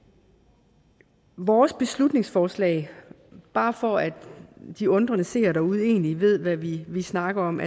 vores beslutningsforslag bare for at de undrende seere derude egentlig ved hvad vi vi snakker om